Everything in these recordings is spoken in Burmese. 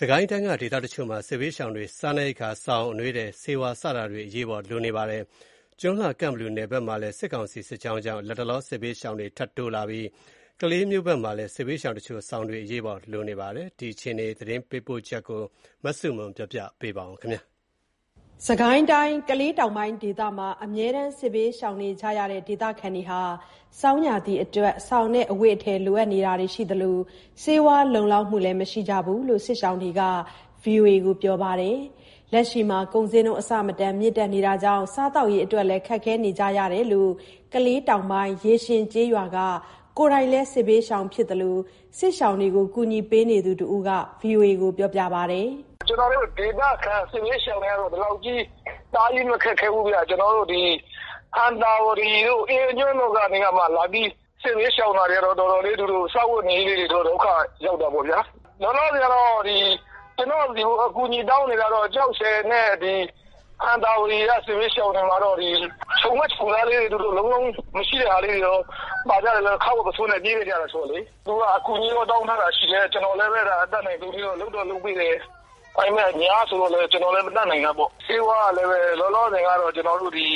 စစ်ကိုင်းတိုင်းက ဒေသတချို့မှာ စစ်ဘေးရှောင်တွေအတွက် စားနပ်ရိက္ခာ၊ စောင်၊ အနွေးထည်၊ ဆေးဝါးစတာတွေ အရေးပေါ်လိုအပ်နေကြပါတယ်။ ကျွန်းလှ ကန့်ဘလူ နယ်မှာလည်း စစ်ကောင်စီရဲ့ စစ်ကြောင်းကြောင့် လတ်တလောမှာ စစ်ဘေးရှောင်တွေ ထပ်တိုးလာပြီး ကလေးမြို့ဘက်မှာလည်း စစ်ဘေးရှောင်တချို့အတွက် စောင်တွေ အရေးပေါ် လိုအပ်နေကြပါတယ်။ စစ်ကိုင်းက စစ်ဘေးရှောင်တွေရဲ့ အခြေအနေ ရန်ကုန်ကသတင်းပေးပို့ထားပါတယ်။ စစ်ကိုင်းတိုင်း ကလေးတောင်ပိုင်း ဒေသမှာ အမြဲတမ်း စစ်ဘေးရှောင်နေကြရတဲ့ ဒေသခံတွေဟာ ဆောင်းရာသီအတွက် စောင်နဲ့ အဝတ်အထည် လိုနေတာတွေ ရှိသလို ဆေးဝါး လုံလောက်မှုလည်း မရှိကြဘူးလို့ စစ်ရှောင်တွေက ဗွီအိုအေကိုပြောပါတယ်။ လက်ရှိမှာ ကုန်ဈေးနှုန်း အဆမတန်မြင့်တက်မှုကြောင့် စားသောက်ရေးအတွက် ခက်ခဲနေကြရတယ်လို့လည်း ကလေးတောင်ပိုင်း ရေရှင်ကျေးရွာက ကိုယ်တိုင်လည်း စစ်ဘေးရှောင်ဖြစ်သလို စစ်ရှောင်တွေကို ကူညီပေးနေသူလည်း ဖြစ်တဲ့ ဒေသခံတစ်ဦးက ခုလိုပြောပါတယ်။ “ကျွန်တော်တို့ ဒေသခံ စစ်ဘေးရှောင်တွေကတော့ ဒီလောက်ကြီး တအားကြီး မခက်ခဲဘူးဗျ။ ဒီ ဟံသာဝတီတို့၊ ဘာတို့ အဲ့ဖက်က လာပြီး စစ်ဘေးရှောင်တာတွေကတော့ သူတို့ စားဝတ်နေရေးလေးတွေတော့ တော်တော်ခက်ခဲ ဒုက္ခရောက်တာပေါ့ဗျာ။ လောလောဆယ် ကျွန်တော့်ကို အကူအညီတောင်းနေတာကတော့ ကျောက်ဆည်နဲ့ ဒီ ဟံသာဝတီက စစ်ဘေးရှောင်တွေမှာတော့ ဒီခြုံဝတ် ခြုံစားလေးတွေ လုံးလုံးမရှိတာလေးတွေတော့ ပါကြတယ်ဗျ၊ ခါးဝတ်ပုဆိုးနဲ့ပဲ ပြေးလာကြတာဆိုတော့လေ။ သူတို့တွေက အကူအညီတောင်းထားတာလေးတွေရှိတယ်။ ကျွန်တော်လည်းပဲ လုပ်တော့ လုပ်ပေးနေတယ်။ ဒါပေမယ့် အများဆိုတော့လည်း ကျွန်တော်လည်း မတတ်နိုင်တာပေါ့။ ဆေးဝါးကလည်းပဲ လောလောဆယ်တော့ ကျွန်တော်တို့ ဒီ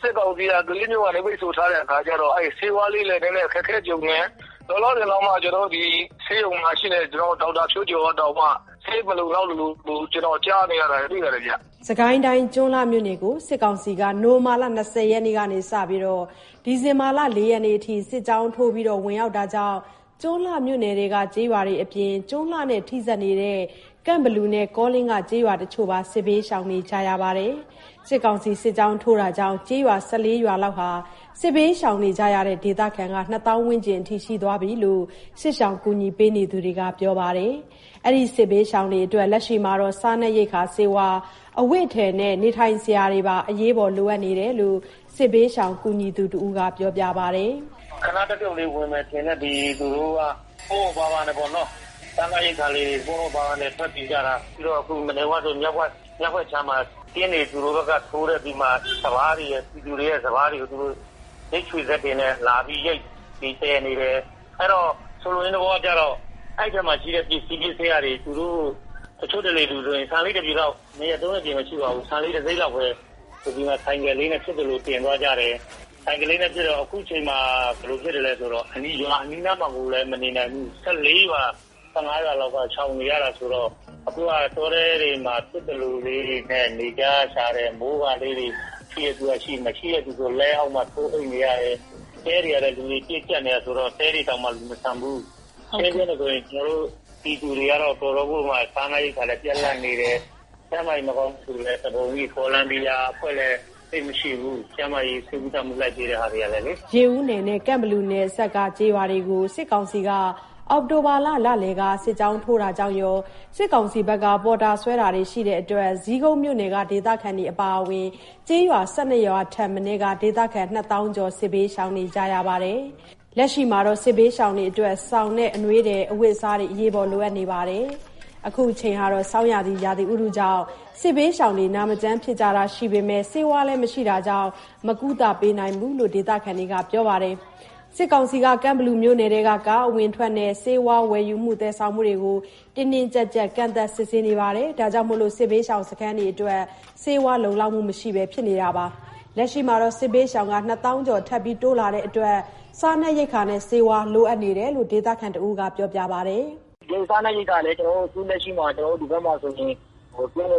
စစ်ကောင်စီက ကလေးးမြို့ကလည်း ပိတ်ဆို့ထားတဲ့ခါကျ‌တော့ ဆေးဝါးလေးတွေလည်း အခက်အခဲကြုံတယ်။ လောလောဆယ်တောင်မှ ဆေးရုံမှာရှိတဲ့ ကျွန်တော်တို့ ဒေါက်တာကတောင်မှ ဆေးမလုံလောက်လို့မို့ဆိုပြီး ကျွန်တော်ကြားနေရတာရှိပါတယ်ဗျ။” စစ်ကိုင်းတိုင်း ကျွန်းလှမြို့နယ်ကို စစ်ကောင်စီက နိုဝင်ဘာ ၂၀ ရက်နေ့ကစပြီး ဒီဇင်ဘာ ၄ ရက်နေ့အထိ စစ်ကြောင်းထိုးဝင်ရောက်တာကြောင့် ကျွန်းလှမြို့နယ်ထဲက ကျေးရွာတွေအပြင် ကျွန်းလှနဲ့ ထိစပ်နေတဲ့ ကန့်ဘလူနဲ့ကောလင်းက ကျေးရွာတချို့ပါ စစ်ဘေးရှောင်နေကြရပါတယ်။ စစ်ကောင်စီရဲ့ စစ်ကြောင်းကြောင့် ကျေးရွာ ၁၄ ရွာလောက်က စစ်ဘေးရှောင်ကြရတဲ့ ဒေသခံက ၂၀၀၀၀ ဝန်းကျင် ရှိတယ်လို့ စစ်ရှောင် ကူညီသူတွေကပြောကြပါတယ်။ ဒီစစ်ဘေးရှောင်တွေအတွက် လက်ရှိမှာ စားနပ်ရိက္ခာ၊ ဆေးဝါး၊ အဝတ်အထည်နဲ့ နေထိုင်စရာတွေပါ အရေးပေါ် လိုအပ်နေတယ်လို့ စစ်ဘေးရှောင် ကူညီသူတဦးက ခုလိုပြောပါတယ်။ “ခဏတဖြုတ်လေးဝင်မယ်ထင်ပြီး သူတို့က ပေါ့ပေါ့ပါးပါးနဲ့ပေါ့နော်၊ စားနပ်ရိက္ခာကို ပေါ့ပေါ့ပါးပါး ယူပြီး ထွက်လာကြတာ၊ ပြီးတော့ အခု မြောက်ဘက်ခြမ်းမှာ သူတို့က ကင်းတွေထိုးလာပြီးတော့မှ ပြည်သူတွေရဲ့ စပါးတွေကို ရိတ်ခြွေစက်တွေနဲ့ ရိတ်ပြီး သယ်နေတယ်။ အဲ့တော့ အဲ့ ထဲမှာရှိတဲ့ ပစ္စည်း ပစ္စယတွေ မယူနိုင်ခဲ့ဘူး။ တချို့ဆို ဆန်လေး တပြည်လောက်၊ တစိတ်လောက်ပဲ ဆိုင်ကယ်လေးနဲ့ ဖြစ်သလို တင်သွားကြတယ်။အခုက ဘယ်လိုဖြစ်လဲဆိုတော့ ရွာအနီးနားပတ်ဝန်းးကျင်မှာလည်း မနေနိုင်ဘူး။ ၁၄ ရွာ၊ ၁၅ ရွာလောက်က စစ်ရှောင်နေရတော့ အခုက တောထဲမှာ ဖြစ်သလိုလေးတွေနဲ့ နေကြရရှာတယ်။ မိုးကာလေးတွေ ရှိတဲ့သူက ရှိ မရှိတဲသူဆို လှည်းအောက်မှာ ထိုးအိပ်နေရတယ်။ တဲတွေကလည်း လူတွေ ပြည့်ကျပ်နေတာဆိုတော့ တဲတွေကလည်း လူမဆံ့ဘူး။ ကျွန်တော်တို့ ပြည်သူတွေကလည်း တော်တော်ကိုမှ စားနပ်ရိက္ခာပြတ်လပ်နေတယ်။ ကျန်းမာရေး မကောင်းသူလည်း တပုံကြီး။ ဗော်လန်တီယာ အဖွဲ့ကလည်း ဆေးမရှိဘူး၊ ကျန်းမာရေး ကုသမှုပေးကြတဲ့အဖွဲ့တွေမှာလည်းလေ။” ရေဦးနယ်နဲ့ ကန့်ဘလူနယ်ဘ အစပ်က ကျေးရွာတွေကို စစ်ကောင်စီက အောက်တိုဘာ လလယ်လောက်က စစ်ကြောင်းထိုးတာကြောင့်ရော စစ်ကောင်စီ ပေါ်တာဆွဲတာတွေပါ ရှိတဲ့အတွက် ဇီးကုန်းမြို့ပေါ်က ဒေသခံတွေ အပါအဝင် ကျေးရွာ ၁၂ ရွာထက်မနည်းက ဒေသခံ ၂၀၀၀၀ ကျော်လောက်ဟာ စစ်ဘေးရှောင်နေကြရပါတယ်။ လက်ရှိမှာ စစ်ဘေးရှောင်တွေအတွက် စောင်နဲ့ အနွေးထည် အဝတ်အစား စတာတွေလည်း အရေးပေါ်လိုအပ်နေတယ်လို့ ပြောပါတယ်။ ဆောင်းအဝင်ရာသီဥတုကြောင့် စစ်ဘေးရှောင်တွေ နာမကျန်းဖြစ်တာရှိကြပေမယ့် ဆေးဝါးမရှိတာကြောင့် မကုသပေးနိုင်ဘူးလို့ ဒေသခံတွေက ပြောပါတယ်။ စစ်ကောင်စီက ကန့်ဘလူမြို့နယ်အတွင်းမှာ ကားအဝင်အထွက်နဲ့ ဆေးဝါးဝယ်ယူမှု သယ်ဆောင်မှုတွေကို တင်းတင်းကြပ်ကြပ် ကန့်သတ် စစ်ဆေးမှုတွေ ရှိနေတာကြောင့် စစ်ဘေးရှောင် စခန်းတွေအတွက် ဆေးဝါး မရရှိနိုင်ဖြစ်နေတာ ဖြစ်ပါတယ်။ လက်ရှိမှာ စစ်ဘေးရှောင် ၂၀၀၀၀ ကျော် ထပ်တိုးလာတဲ့အတွက် စားနပ်ရိက္ခာနဲ့ ဆေးဝါး လိုအပ်နေတဲ့ အခြေအနေကို ဒေသခံ တဦးက ခုလိုပြောပါတယ်။ “စားနပ်ရိက္ခာကလည်း ခုလက်ရှိမှာ ဒီဖက်မှာ ဆိုရင် စားန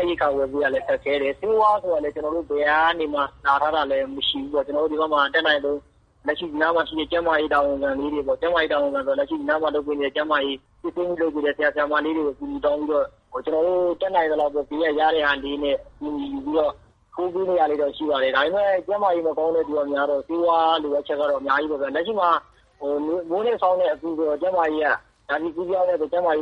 ပ်ရိက္ခာ ဝယ်ယူရ ခက်ခဲတယ်။ ဆေးဝါးဆိုတာကလည်း ဘယ်နေရာ ကနေမှ ရထားတာလည်းမရှိဘူးပေါ့။ ကျွန်တော်တို့ ဒီဖက်မှာ အတတ်နိုင်ဆုံး ဒီက ကျန်းမာရေး တာဝန်ခံလေးတွေပေါ့ ကျန်းမာ‌ရေး တာဝန်ခံဆိုတာလည်း ဒီမှာ ကျန်းမာရေး စစ်ဆေးဖို့ လုပ်ပေးနေတဲ့ တာဝန်ခံ ဆရာ ဆရာမလေးတွေကိုပဲ အကုအညီတောင်းပြီးတော့ ကျွန်တော်တို့ တတ်နိုင်သလောက်လေး ရတဲ့ဟာလေးနဲ့ ကူညီပြီးတော့ လုပ်ပေးနေတာလေးတော့ ရှိပါတယ်။ ဒါပေမယ့် ကျန်းမာရေး မကောင်းတဲ့သူက များတော့ ဆေးဝါးလိုအပ်ချက်က အများကြီးပေါ့ဗျာ။ လက်ရှိမှာ မိုးနဲ့ ဆောင်းနဲ့ အကူးဆိုတော့ ကျန်းမာရေးက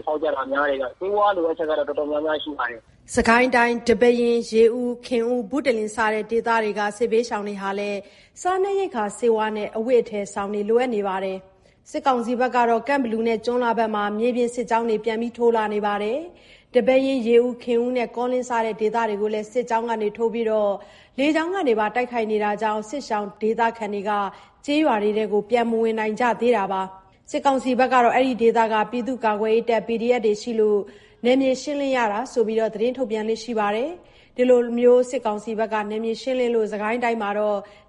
ဖောက်ကြတာများတယ်ဗျ။ ဆေးဝါးလိုအပ်ချက်ကတော့ တော်တော်များများရှိပါတယ်။” စစ်ကိုင်းတိုင်း ဒီပဲယင်း၊ ရေဦး၊ ခင်ဦး၊ ဘုတလင် စတဲ့ ဒေသတွေက စစ်ဘေးရှောင်တွေမှာလည်း စားနပ်ရိက္ခာ၊ ဆေးဝါးနဲ့၊ အဝတ်အထည်၊ စောင် စတာတွေ လိုအပ်နေကြပါတယ်။ စစ်ကောင်စီဖက်က ကန့်ဘလူ၊ကျွန်းလှစတဲ့ ဒေသတွေမှာ မြေပြင်စစ်ကြောင်းတွေ ပြန်ထိုးလာနေသလို၊ ဒီပဲယင်း၊ ရေဦး၊ ခင်ဦး၊ ကောလင်း စတဲ့ ဒေသတွေကိုလည်းစစ်ကြောင်းထိုးတာ လေကြောင်းကနေ တိုက်ခိုက်တာတွေ ရှိနေတာကြောင့် စစ်ရှောင်ဒေသခံတွေက ကျေးရွာတွေကို ပြန်မဝင်နိုင်ကြတာပါ။ စစ်ကောင်စီဘက်ကတော့ အဲ့ဒီဒေသတွေမှာ ပြည်သူ့ကာကွယ်ရေးတပ် PDF တွေရှိနေလို့ နယ်မြေရှင်းလင်းရတာဖြစ်တယ်လို့ ထုတ်ပြန်လေ့ရှိပါတယ်။ ဒီလို နယ်မြေရှင်းလင်းမှုတွေကြောင့် စစ်ကိုင်းတိုင်းမှာ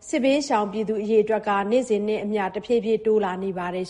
စစ်ဘေးရှောင်အရေအတွက်က နေ့စဉ်နဲ့အမျှ တဖြည်းဖြည်း တိုးလာနေပါတယ်